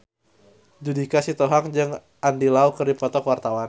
Judika Sitohang jeung Andy Lau keur dipoto ku wartawan